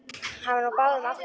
Hann var nú á báðum áttum.